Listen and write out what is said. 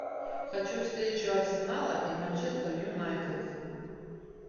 хочу встречу арсенала и манчестер юнайтед